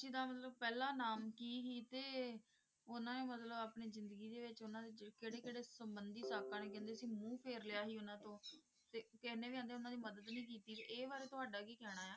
ਗੁਰੂ ਰਾਮਦਾਸ ਜੀ ਦਾ ਮਤਲਬ ਪਹਿਲਾਂ ਨਾਮ ਕੀਹਦੇ ਉਹਨਾਂ ਦੇ ਮਤਲਬ ਉਹਨਾਂ ਨੇ ਆਪਣੀ ਜ਼ਿੰਦਗੀ ਦੇ ਵਿੱਚ ਉਹਨਾਂ ਦੇ ਕਿਹੜੇ ਕਿਹੜੇ ਸੰਬੰਧੀ ਸਾਕਾਂ ਨੇ ਕਹਿੰਦੇ ਸੀ ਮੂੰਹ ਫੇਰ ਲਿਆ ਸੀ ਉਹਨਾਂ ਤੋਂ ਤੇ ਕਹਿੰਦੇ ਵੀ ਇੰਨੀ ਉਹਨਾਂ ਦੀ ਮੱਦਦ ਵੀ ਕੀਤੀ ਸੀ ਇਹ ਬਾਰੇ ਤੁਹਾਡੇ ਕਿ ਕਹਿਣਾ